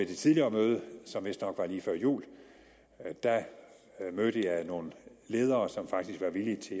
det tidligere møde som vistnok var lige før jul mødte jeg nogle ledere som faktisk var villige til